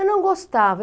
Eu não gostava.